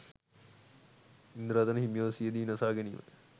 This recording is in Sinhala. ඉන්දරතන හිමිගේ සිය දිවිනසා ගැනීම